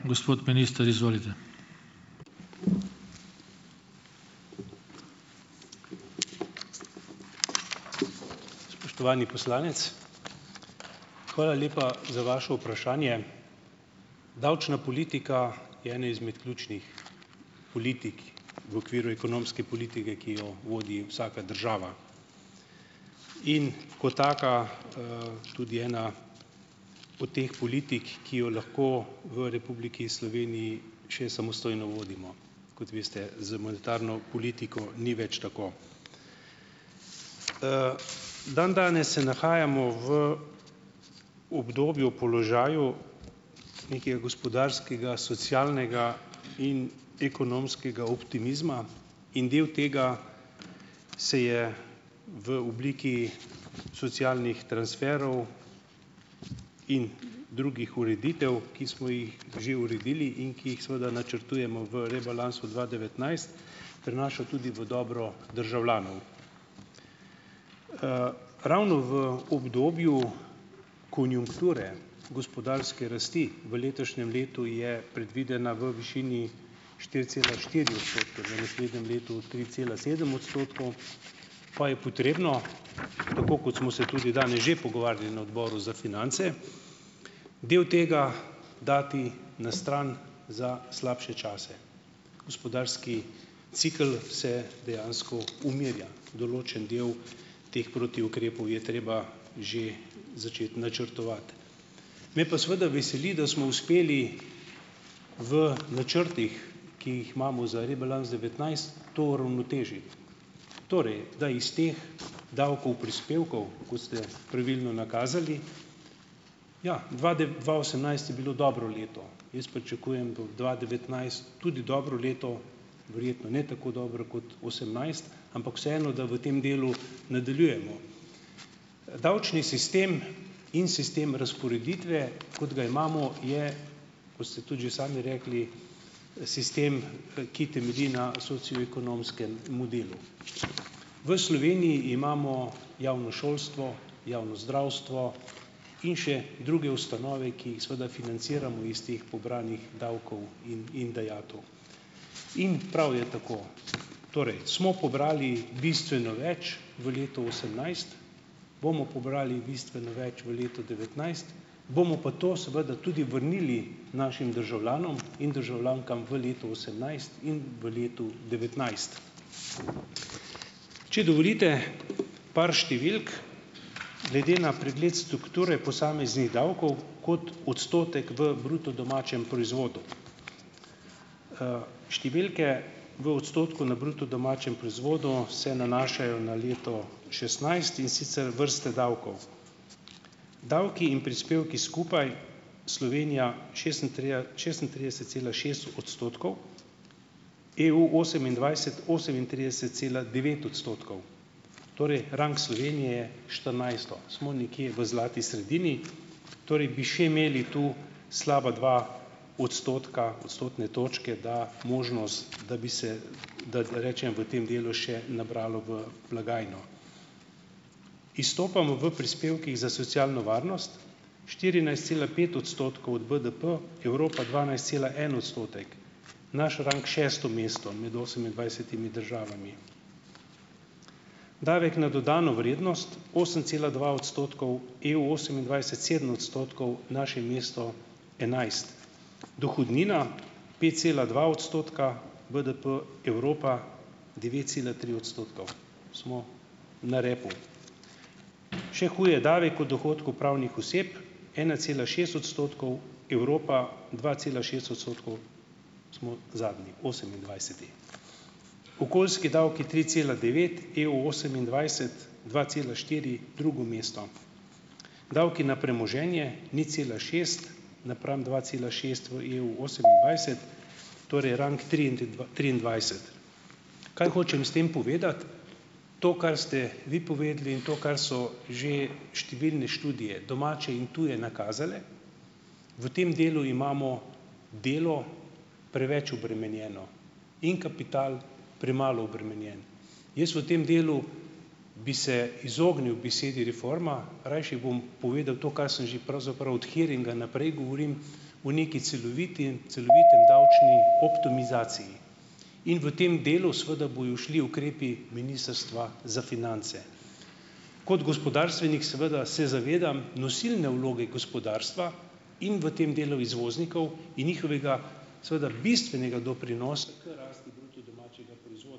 Spoštovani poslanec - hvala lepa za vaše vprašanje. Davčna politika je ena izmed ključnih politik v okviru ekonomske politike, ki jo vodi vsaka država. In kot taka, tudi ena od teh politik, ki jo lahko v Republiki Sloveniji še samostojno vodimo. Kot veste, z monetarno politiko ni več tako. Dandanes se nahajamo v obdobju, položaju nekega gospodarskega, socialnega in ekonomskega optimizma. In delu tega se je v obliki socialnih transferov in drugih ureditev, ki smo jih že uredili in ki jih seveda načrtujemo v rebalansu dva devetnajst, prinaša tudi v dobro državljanov. Ravno v obdobju konjunkture, gospodarske rasti, v letošnjem letu je predvidena v višini štiri cela štiri odstotka, za naslednje leto tri cela sedem odstotkov , pa je potrebno - tako kot smo se tudi danes že pogovarjali na odboru za finance - del tega dati na stran za slabše čase. Gospodarski cikel se dejansko umirja. Določen del teh protiukrepov je treba že začeti načrtovati. Me pa seveda veseli, da smo uspeli v načrtih, ki jih imamo za rebalans devetnajst, to uravnotežiti. Torej da iz teh davkov, prispevkov, ko ste pravilno nakazali - ja, dva dva osemnajst je bilo dobro leto. Jaz pričakujem, bo dva devetnajst tudi dobro leto, verjetno ne tako dobro kot osemnajst, ampak vseeno, da v tem delu nadaljujemo. Davčni sistem in sistem razporeditve, kot ga imamo, je - kot ste tudi že sami rekli - sistem, ki temelji na socioekonomskem modelu. V Sloveniji imamo javno šolstvo, javno zdravstvo in še druge ustanove, ki jih seveda financiramo iz teh pobranih davkov in in dajatev. In prav je tako. Torej, smo pobrali bistveno več v letu osemnajst, bomo pobrali bistveno več v letu devetnajst, bomo pa to seveda tudi vrnili našim državljanom in državljankam v letu osemnajst in v letu devetnajst. Če dovolite, par številk. Glede na pregled strukture posameznih davkov kot odstotek v bruto domačem proizvodu. Številke v odstotku na bruto domačem proizvodu se nanašajo na leto šestnajst, in sicer vrste davkov. Davki in prispevki skupaj - Slovenija šestintrideset cela šest odstotkov, EU osemindvajset, osemintrideset cela devet odstotkov, torej rang Slovenije štirinajsto, smo nekje v zlati sredini, torej bi še imeli tu slaba dva odstotka, odstotne točke da, možnost, da bi se, da, da rečem v tem delu še nabralo v blagajno, izstopamo v prispevkih za socialno varnost - štirinajst cela pet odstotkov od BDP, Evropa dvanajst cela en odstotek, naš rang šesto mesto med osemindvajsetimi državami, davek na dodano vrednost - osem cela dva odstotkov, EU osemindvajset sedem odstotkov, naše mesto enajst, dohodnina - pet cela dva odstotka, BDP Evropa devet cela tri odstotkov, smo na repu, še huje, davek od dohodkov pravnih oseb - ena cela šest odstotkov, Evropa dva cela šest odstotkov, smo zadnji, osemindvajseti, okoljski davki - tri cela devet, EU osemindvajset, dva cela štiri drugo mesto, davki na premoženje - nič cela šest napram dva cela šest v EU osemindvajset, torej rang Kaj hočem s tem povedati? To, kar ste vi povedali, in to, kar so že številne študije, domače in tuje, nakazale, v tem delu imamo delo preveč obremenjeno in kapital premalo obremenjen. Jaz v tem delu bi se izognil besedi reforma, rajši bom povedal to, kar sem že pravzaprav od hearinga naprej govorim, o neki celoviti, celoviti davčni optimizaciji in v tem delu, seveda, bojo šli ukrepi ministrstva za finance. Kot gospodarstvenik seveda se zavedam nosilne vloge gospodarstva in v tem delu izvoznikov in njihovega seveda bistvenega doprinosa k rasti bruto domačega proizvoda.